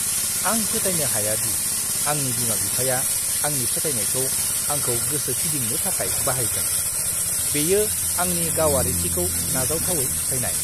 आं फोथायनो हाया दि आंनि बिमा-बिफाया आंनि फोथायनायखौ आंखौ गोसो फिदिंनो थाखाय बाहायगोन। बेयो आंनि गावारिथिखौ नाजावथावै सिफायनाय।